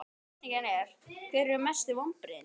Spurningin er: Hver eru mestu vonbrigðin?